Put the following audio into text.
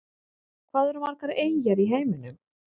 Hvað eru margar eyjar í heiminum?